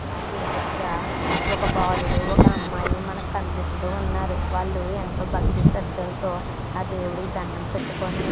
ఇక్కడ గుడి దగర ఒక బాలుడు ఒక అమ్మాయి మనకి కనిపిస్తున్నారు వాళ్ళు ఎంతో భక్తి శ్రద్ధలతో ఆ దేవుడికి దణ్ణం పెట్టుకొని --